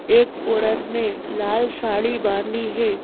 एक औरत ने लाल साड़ी बांधी है।